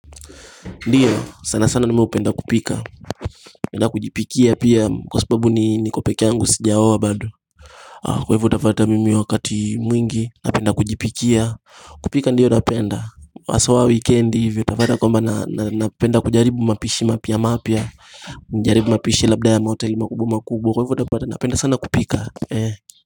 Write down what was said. Ndiyo sana sana mimi hupenda kupika na kujipikia pia kwa sababu ni niko pekee yangu sijaoa bado. Kwa hivyo utapata mimi wakati mwingi napenda kujipikia, kupika ndiyo napenda haswa weekend hivi utapata kwamba na napenda kujaribu mapishi mapya mapya jaribu mapishi labda ya mahoteli makubwa makubwa kwa hivyo utapata napenda sana kupika ee.